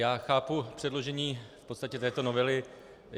Já chápu předložení v podstatě této novely.